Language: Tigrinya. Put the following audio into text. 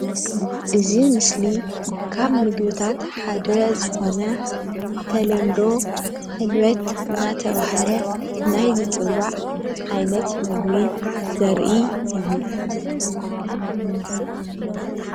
እዚ ምስሊ ካብ ምግብታት ሓደ ዝኾነ ብተልምዶ ሕልበት እንዳተባሃለ ናይ ዝፅዋዕ ዓይነት ምግቢ ዘርኢ እዩ፡፡